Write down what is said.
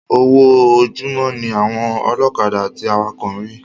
Owó ojúmó ní àwọn ọlọ́kadà àti awakọ̀ ń rí